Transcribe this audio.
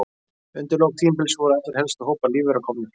Undir lok tímabilsins voru allir helstu hópar lífvera komnir fram.